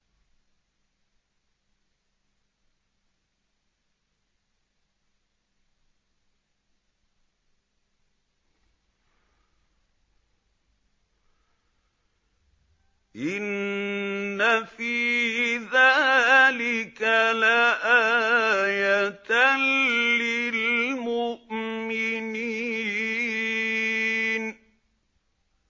إِنَّ فِي ذَٰلِكَ لَآيَةً لِّلْمُؤْمِنِينَ